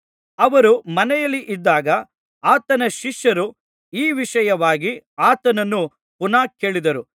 ಅವರು ಮನೆಯಲ್ಲಿದ್ದಾಗ ಆತನ ಶಿಷ್ಯರು ಈ ವಿಷಯವಾಗಿ ಆತನನ್ನು ಪುನಃ ಕೇಳಿದರು